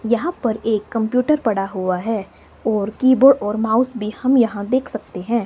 यहां पर एक कंप्यूटर पड़ा हुआ है और कीबोर्ड और माउस भी हम यहां देख सकते हैं।